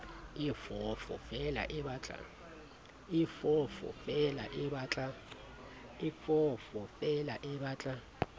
e foofo feela e batla